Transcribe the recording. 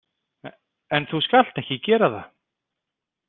En þú skalt ekki gera það.